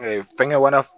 fɛngɛ wɛrɛ